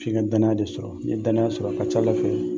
F'i ka danaya de sɔrɔ. N'i ye danaya sɔrɔ a ka c'Ala fɛ